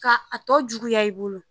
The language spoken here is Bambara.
Ka a tɔ juguya i bolo.